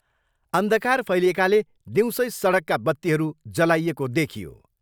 अन्धकार फैलिएकाले दिउँसै सडकका बत्तीहरू जलाइएको देखियो।